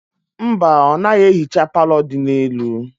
Mba, ọ naghị ehicha palọ dị n'elu.